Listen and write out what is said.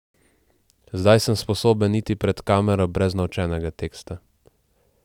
Zdaj sem sposoben iti pred kamero brez naučenega teksta.